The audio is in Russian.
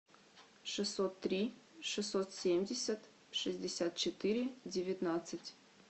шестьсот три шестьсот семьдесят шестьдесят четыре девятнадцать